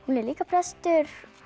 er líka prestur